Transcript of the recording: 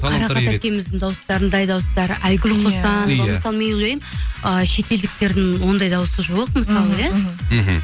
қарақат әпкеміздің дауыстарындай дауыстар айгүл құсан иә мысалы мен ойлаймын ы шетелдіктердің ондай дауысы жоқ мысалы иә мхм мхм